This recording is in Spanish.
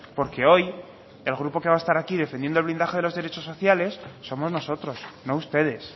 porque hoy el grupo que va a estar aquí defendiendo el blindaje de los derechos sociales somos nosotros no ustedes